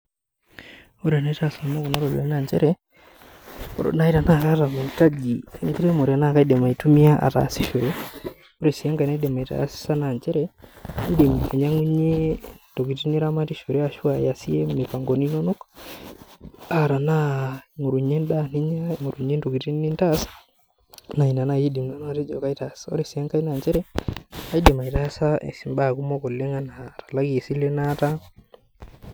Ore enaitaas nanu kuna ropiyiani naa nchere ore naaji tena kaata maitaji enkiremore naa kaidim ataasishore .Ore enaki naitim aitaasa naa kaidim ainyangunyie ntokiting naramatishore ashua iyasie mipangoni inonok, naa tenaa aingorunyie endaa ningorunyie ntokiting nintaas enaa ina natejo nanu kaitaas. Ore sii enkae naa indim aitumiyia atalakie silen naata.